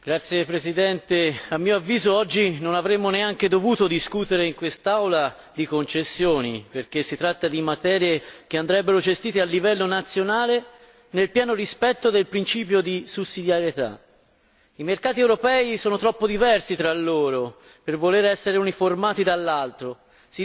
Signor Presidente, onorevoli colleghi, a mio avviso oggi non avremmo neanche dovuto discutere in quest'Aula di concessioni, perché si tratta di materie che andrebbero gestite a livello nazionale, nel pieno rispetto del principio di sussidiarietà. I mercati europei sono troppo diversi tra loro per voler essere uniformati dall'altro.